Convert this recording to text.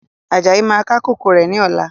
Ajayi máa ká kòkó rẹ̀ ni ọ̀la.